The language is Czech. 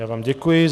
Já vám děkuji.